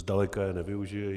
Zdaleka je nevyužiji.